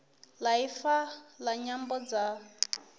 ya ifa la nyambo dza